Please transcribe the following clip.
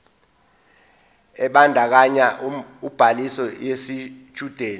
ebandakanya ubhaliso yesitshudeni